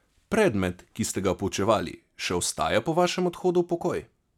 Predmet, ki ste ga poučevali, še ostaja po vašem odhodu v pokoj?